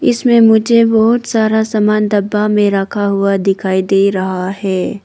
इसमें मुझे बहुत सारा सामान डब्बा में रखा हुआ दिखाई दे रहा है।